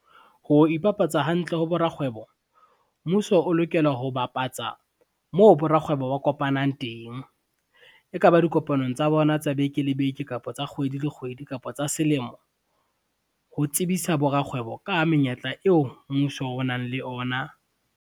Ho ipapatsa hantle ho borakgwebo, mmuso o lokela ho bapatsa moo borakgwebo ba kopanang teng. E ka ba dikopanong tsa bona tsa beke le beke, kapa tsa kgwedi le kgwedi kapa tsa selemo, ho tsebisa borakgwebo ka menyetla eo mmuso o nang le ona.